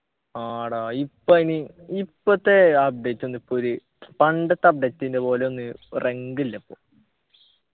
ആടാ ഇപ്പൊ ഇനി ഇപ്പൊത്തെ update ഒന്നും ഇപ്പൊ ഒര് പണ്ടത്തെ update ൻ്റെ പോലയൊന്ന് റങ്ക്ല്ലപ്പൊ